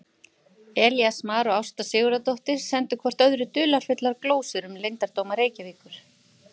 Elías Mar og Ásta Sigurðardóttir sendu hvort öðru dularfullar glósur um leyndardóma Reykjavíkur.